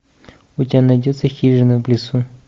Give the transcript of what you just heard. у тебя найдется хижина в лесу